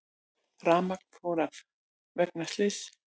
Rafmagn fór af vegna slyss